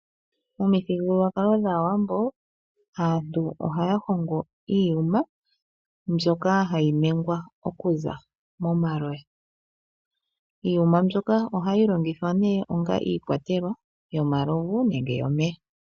Omithigululwakalo dhAawambo, aantu ohaya hongo iiyuma mbyoka hayi ningwa okuza momaloya. Iiyuma mbyoka ohayi longithwa nduno onga iikwatelwa yomalovu nenge yomeya.